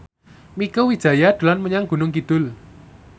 Mieke Wijaya dolan menyang Gunung Kidul